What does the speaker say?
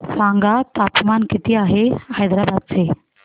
सांगा तापमान किती आहे हैदराबाद चे